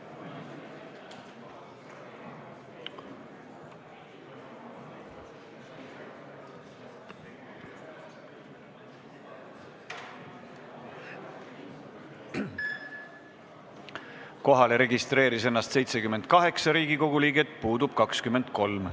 Kohaloleku kontroll Kohalolijaks registreeris ennast 78 Riigikogu liiget, puudub 23.